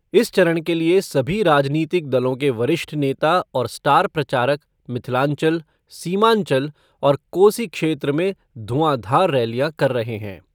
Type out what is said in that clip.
इस चरण के लिये सभी राजनीतिक दलों के वरिष्ठ नेता और स्टार प्रचारक मिथिलांचल, सीमांचल और कोसी क्षेत्र में धुआंधार रैलियां कर रहे हैं।